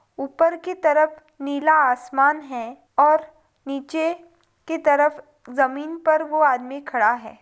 ऊपर की तरफ नीला आसमान है और नीचे की तरफ ज़मीन पर वो आदमी खड़ा है।